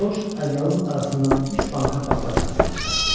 Corc ədyalın arasından üç banka paxla konservi çıxartdı.